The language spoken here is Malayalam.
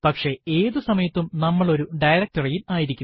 പക്ഷെ ഏതു സമയത്തും നമ്മൾ ഒരു directory യിൽ ആയിരിക്കും